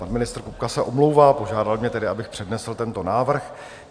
Pan ministr Kupka se omlouvá, požádal mne tedy, abych přednesl tento návrh.